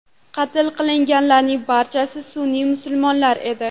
Qatl qilinganlarning barchasi sunniy musulmonlar edi.